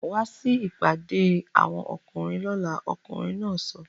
Wá sí ìpàdé àwọn ọkùnrin lọ́la!, ọkùnrin náà sọ